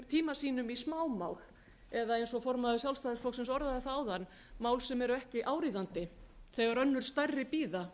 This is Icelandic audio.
tíma sínum í smámál eða eins og formaður sjálfstæðisflokksins orðaði það að mál sem eru ekki áríðandi þegar önnur stærri bíða